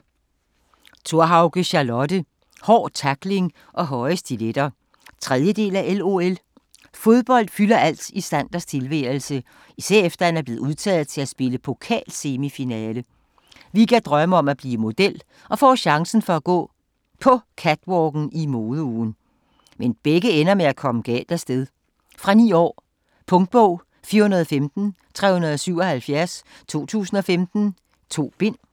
Thorhauge, Charlotte: Hård tackling og høje stiletter 3. del af LOL. Fodbold fylder alt i Sanders tilværelse, især efter han er blevet udtaget til at spille pokalsemifinale. Vigga drømmer om at blive model og får chancen for at gå på catwalken i modeugen. Men begge ender med at komme galt afsted. Fra 9 år. Punktbog 415377 2015. 2 bind.